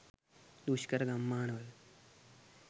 දුෂ්කර ගම්මානවල